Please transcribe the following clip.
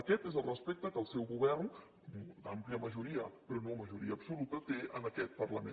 aquest és el respecte que el seu govern amb àmplia majoria però no majoria absoluta té a aquest parlament